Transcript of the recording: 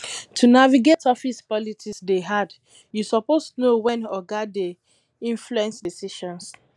to navigate office politics dey hard you suppose know wen oga dey influence decisions